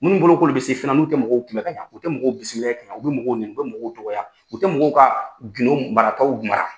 Munnu bolo k'olu bɛ se fɛna nu tɛ mɔgɔw kun bɛ ka ɲa u tɛ mɔgɔw bisimilayɛ, u bɛ mɔgɔw nɛni, u bɛ mɔgɔw dɔgɔya, u tɛ mɔgɔw ka gidon marataw mara.